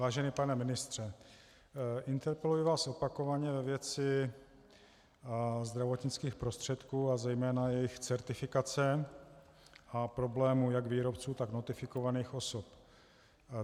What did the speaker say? Vážený pane ministře, interpeluji vás opakovaně ve věci zdravotnických prostředků a zejména jejich certifikace a problémů jak výrobců, tak notifikovaných osob.